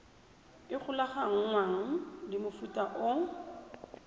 e golaganngwang le mofuta o